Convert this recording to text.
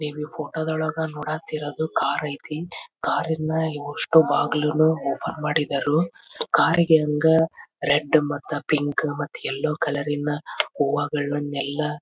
ಇಲ್ಲಿ ಕೆಂಪು ಬಣ್ಣ ಬಿಳಿ ಬಣ್ಣ ಗುಲಾಬಿ ಬಣ್ಣದ ಹೂವಿನಿಂದ್ ಅಲಂಕಾರ ಮಾಡಿದಾರೆ ಒಂದು ಹುಡುಗ ನಿಂತಿದಾನೆ.